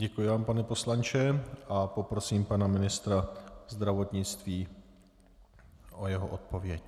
Děkuji vám, pane poslanče, a poprosím pana ministra zdravotnictví o jeho odpověď.